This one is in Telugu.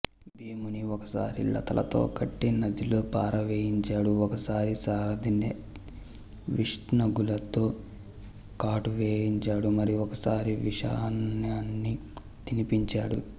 భీముని ఒకసారి లతలతో కట్టి నదిలో పారవేయించాడు ఒకసారి సారధిచే విష్నాగులతో కాటు వేయించాడు మరి ఒకసారి విషాన్నాన్ని తినిపించాడు